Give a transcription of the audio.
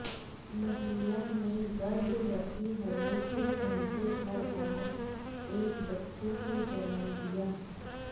महिला ने गर्भवती होने के घंटे भर बाद एक बच्चे को जन्म दिया